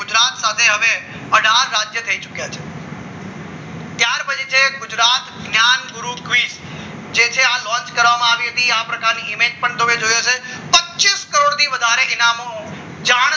સાથે હવે અઢાર રાજ્યો થઈ ચૂક્યા છે ત્યાર પછી છે ગુજરાત જ્ઞાન ગુરુકુસ જે છે આ લોન્ચ કરવામાં આવી હતી આ પ્રકારની ઈમેજ તમે જોઈ હશે પચ્ચીસ કરોડથી વધારે ઇનામો જાહેર